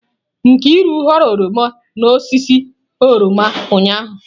Nkiru ghọrọ oroma n'osisi oroma ụnyahụ